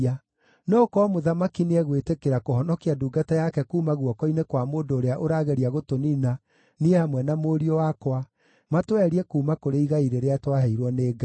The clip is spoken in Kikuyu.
no gũkorwo mũthamaki nĩegwĩtĩkĩra kũhonokia ndungata yake kuuma guoko-inĩ kwa mũndũ ũrĩa ũrageria gũtũniina niĩ hamwe na mũriũ wakwa, matweherie kuuma kũrĩ igai rĩrĩa twaheirwo nĩ Ngai.’